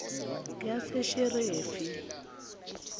yasesheferi